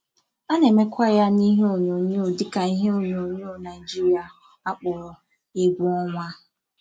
A na-emekwa ya n'ihe onyonyoo dịka ihe onyonyoo Naijiria a kpọrọ 'egwu ọnwa'.